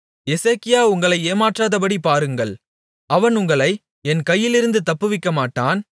எசேக்கியா உங்களை ஏமாற்றாதபடி பாருங்கள் அவன் உங்களை என் கையிலிருந்து தப்புவிக்கமாட்டான்